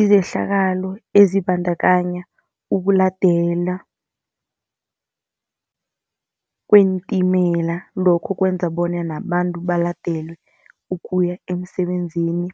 Izehlakalo ezibandakanya ukuladelwa kweentimela, lokho kwenza bonyana abantu baladelwe ukuya emsebenzini.